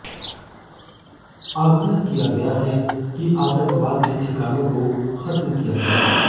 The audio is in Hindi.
आग्रह किया गया है कि आतंकवाद के ठिकानों को खत्म किया जाए